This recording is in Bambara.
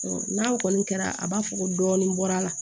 N'a kɔni kɛra a b'a fɔ ko dɔɔnin bɔra